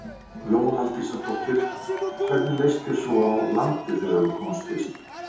Lóa Aldísardóttir: Og hvernig leist þér svo á landið þegar þú komst fyrst?